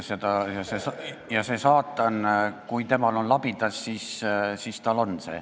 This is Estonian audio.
Kui saatanal on labidas, siis tal see on.